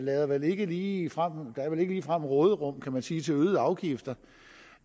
er vel ikke ligefrem råderum kan man sige til øgede afgifter